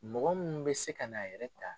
Mɔgɔ minnu bɛ se ka na a yɛrɛ ta